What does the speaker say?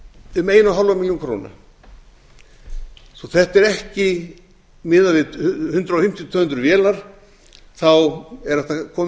um eins og hálfa milljón króna svo þetta er ekki miðað við hundrað fimmtíu til tvö hundruð vélar er hægt að koma